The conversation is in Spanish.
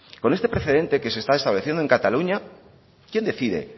con este precedente que se está estableciendo en cataluña quién decide